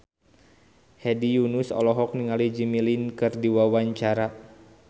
Hedi Yunus olohok ningali Jimmy Lin keur diwawancara